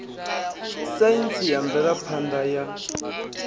saintsi na mvelaphan ḓa ya